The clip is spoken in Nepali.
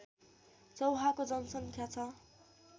चौहाको जनसङ्ख्या छ